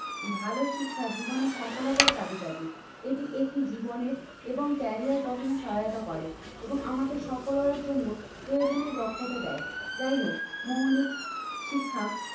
ভালো শিক্ষা জীবনের সফলতার চাবিকাঠি এটি একটি জীবনের এবং ক্যারিয়ার গঠনে সহায়তা করে এবং আমাদের সকলের জন্য প্রয়োজনীয় দক্ষতা দেয়। যাই হোক মৌলিক শিক্ষা